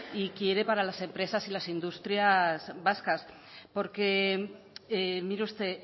y quiere para las empresas y las industrias vascas porque mire usted